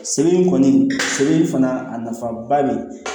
Sɛbɛn kɔni sɛbɛn fana a nafaba de ye